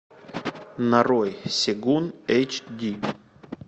нарой сегун эйч ди